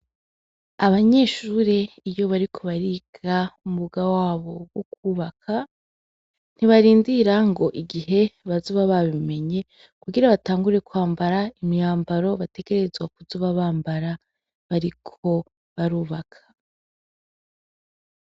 Abanyeshure iyo bariko bariga umwuga wabo wo kubaka ntibarindira ngo igihe bazoba babimenye kugira batangure kwambara imyambaro bategerezwa kuzob bambara bariko barubaka